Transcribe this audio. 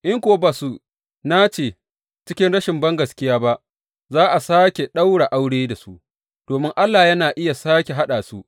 In kuwa ba su nace cikin rashin bangaskiya ba, za a sāke ɗaura aure da su, domin Allah yana iya sāke haɗa su.